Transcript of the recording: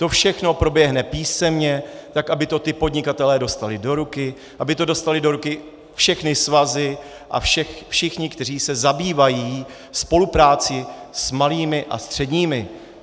To všechno proběhne písemně tak, aby to ti podnikatelé dostali do ruky, aby to dostaly do ruky všechny svazy a všichni, kteří se zabývají spoluprací s malými a středními.